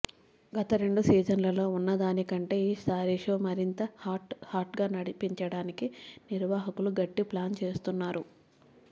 గత రెండు సీజన్లలో ఉన్నదానికంటే ఈ సారి షో మరింత హాట్ హాట్గా నడిపించడానికి నిర్వాహకులు గట్టి ప్లాన్ చేస్తున్నారు